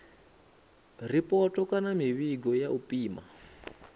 ripoto kana mivhigo ya u pima